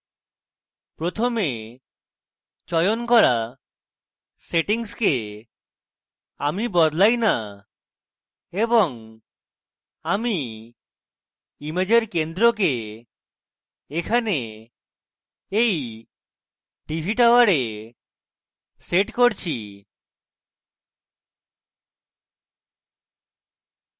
প্রথমে চয়ন করা সেটিংসকে আমি বদলাই না এবং আমি ইমেজের centre এখানে এই tv tower সেট করছি